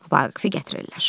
Vaqifi gətirirlər.